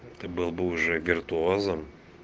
ты был бы уже виртуозом